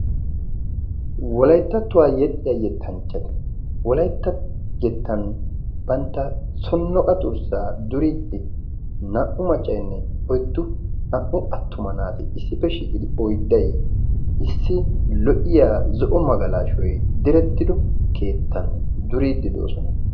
wolayttattuwaa yexxiya yettanchchata. wolaytta yettan bantta sonnoqa durssaa duriiddi naa77u maccaynne oyddu naa77u attuma naati issippe shiiqidi oydday issi lo77iya zo7o magalaashoy direttido keettan duriiddi de7oosona.